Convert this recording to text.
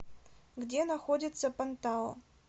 где находится пантао